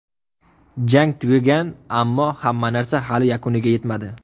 Jang tugagan, ammo hamma narsa hali yakuniga yetmadi.